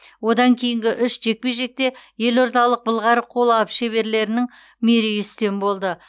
одан кейінгі үш жекпе жекте елордалық былғары қолғап шеберлерінің мерей үстем болды